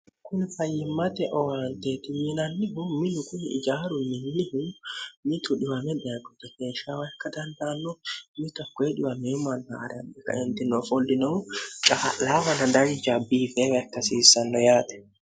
kuni fayyimmate owaanteti yinannihu minu kuni ijaaru minnihu mit dwo keeshshawa ikka dandaanno mitokkoedwmeemann a'rianni kitinoo foldinohu caa'laawana danja biifeewa ikkasiissanno yaate